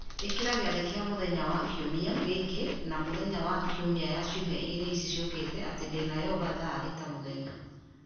Ikĩra gĩathĩ kĩa mũthenya wa mũthenya wa kiumia gĩkĩ na mĩthenya ya kiumia ya ciumia igĩrĩ ici ciũkĩte atĩ ndĩna yoga thaa thita mũthenya